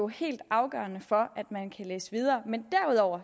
helt afgørende for at man kan læse videre men derudover